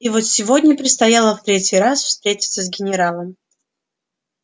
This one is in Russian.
и вот сегодня предстояло в третий раз встретиться с генералом